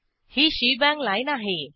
he shebang lineआहे